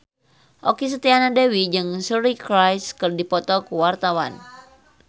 Okky Setiana Dewi jeung Suri Cruise keur dipoto ku wartawan